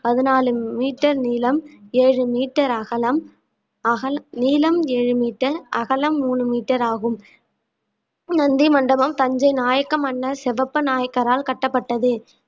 பதினாலு meter நீளம் ஏழு meter அகலம் அகல்~ நீளம் ஏழு metre அகலம் மூணு metre ஆகும் நந்தி மண்டபம் தஞ்சை நாயக்க மன்னர் சிவப்ப நாயக்கரால் கட்டப்பட்டது